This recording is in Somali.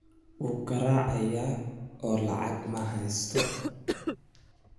Wuu garaacayaa oo lacag ma haysto